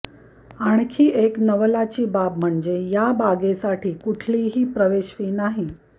आणखी एक नवलाची बाब म्हणजे या बागेसाठी कुठलीही प्रवेश फ़ी नाही